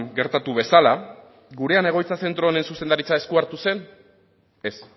gertatu bezala gurean egoitza zentro honen zuzendaritza esku hartu zen ez